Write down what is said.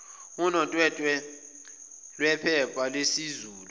unotwetwe lwephepha lesizulu